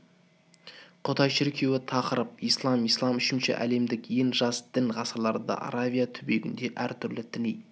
құдай шіркеуі тақырып ислам ислам үшінші әлемдік ең жас дін ғасырларда аравия түбегіне әр түрлі діни